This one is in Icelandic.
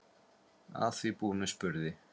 Að því búnu spurði